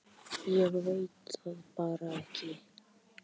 Ég veit það bara ekki.